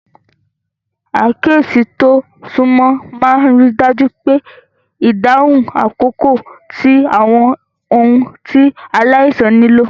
Àkíyèsí tó súnmọ́ máa ń rí i dájú pé ìdáhùn àkókò sí àwọn ohun tí aláìsàn nílò.